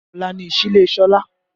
Ọ̀la ni ìsílé Sọlá